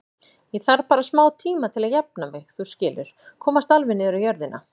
Ég þarf bara smátíma til að jafna mig, þú skilur, komast alveg niður á jörðina.